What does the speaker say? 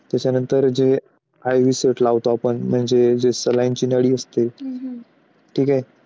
त्याच्यानंतर चे IV set लावतो आपण म्हणजे जे saline ची गाडी असते ठीक आहे.